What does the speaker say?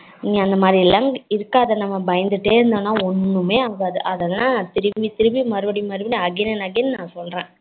நீ அந்த மாதிரிலாம் இருக்காதா நம்ம பயந்துடே இருந்தாலும் ஒன்னுமே ஆகாது அதெல்லாம் திரும்பி திரும்பி மறுபடியும் மறுபடியும் again and again னா சொல்லுறேன்